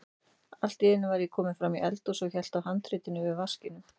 Allt í einu var ég kominn fram í eldhús og hélt á handritinu yfir vaskinum.